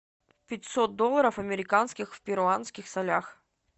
пятьсот долларов американских в перуанских солях